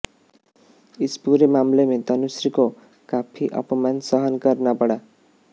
इस पूरे मामले में तनुश्री को काफी अपमान सहन करना पडा